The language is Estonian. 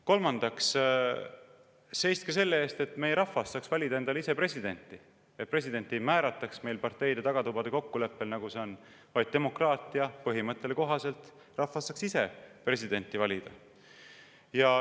Kolmandaks seiske selle eest, et meie rahvas saaks valida endale ise presidenti, et presidenti ei määrataks meil parteide tagatubade kokkuleppega, nagu see on, vaid demokraatia põhimõttele kohaselt saaks rahvas ise presidenti valida.